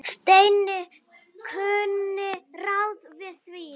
Steini kunni ráð við því.